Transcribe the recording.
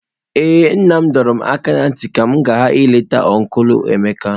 Ee nna m dọrọ m aka ná ntị ka m ghara ileta ọncụl Emeka.